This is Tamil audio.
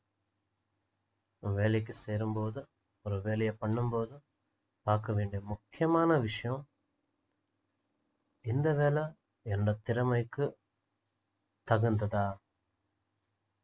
இப்போ வேலைக்கு சேரும் போது ஒரு வேலையை பண்ணும் போது பார்க்க வேண்டிய முக்கியமான விஷயம் இந்த வேலை என்னோட திறமைக்கு தகுந்ததா